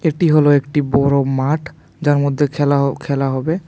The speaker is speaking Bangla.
এটি হলো একটি বড়ো মাঠ যার মধ্যে খেলা হ খেলা হবে।